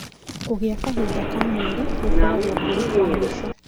Kũgĩa kahinda ka mweri gũkoragwo kũrĩ kwa mũico